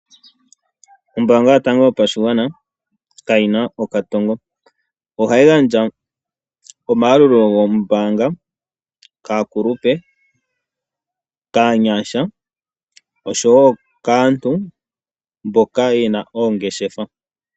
Ombaanga yotango yopashigwana kayina okatongo. Ohayi gandja omayalulo goombaanga kaakulupe, kaanyasha osho wo kaantu mboka ye na oongeshefa.